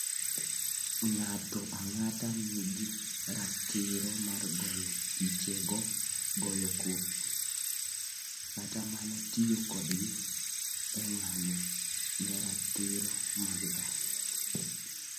Ng'ato ang'ata nigi ratiro mar goyo pichego, goyo kopi, kata mana tiyo kodgi e ng'anyo ne ratiro mag dhano.